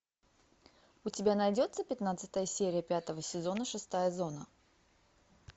у тебя найдется пятнадцатая серия пятого сезона шестая зона